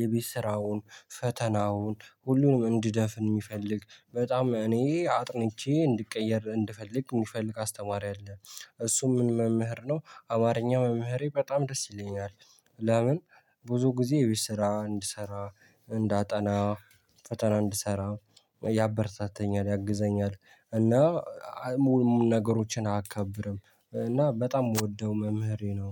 የቤት ስራውን ፈተናውን ሁሉንም እንድደፍን የሚፈልግ በጣም እኔ አጥንቼ እንድቀየር እንድፈልግ የሚፈልግ አስተማሪ አለ። እሱም ምን መምህር ነው አማርኛ መምህሬ በጣም ደስ ይለኛል። ለምን? ብዙ ጊዜ የቤት ስራ እንድሰራ እንዳጠና ፈተና እንድሰራ ያበረታታኛል ያግዘኛል። እና ሙሉ ነገሮችን አካብድም እና በጣም የምወደው መምህሬ ነው